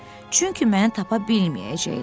Çünki məni tapa bilməyəcəklər.